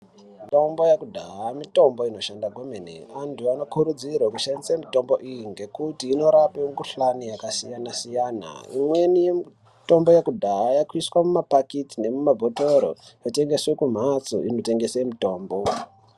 Mitombo yekudhaya, mitombo inoshanda kwemene. Antu anokurudzirwa kushandisa mitombo iyi ngekuti inorape mikuhlane yakasiyana-siyana. Imweni yemitombo yekudhaya yakuiswa mumaphakiti nemuma bhotoro yotengeswe kumhatso inotengese mitombo.